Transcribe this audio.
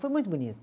Foi muito bonito.